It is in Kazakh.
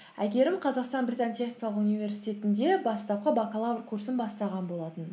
әйгерім қазақстан британ техникалық университетінде бастапқы бакалавр курсын бастаған болатын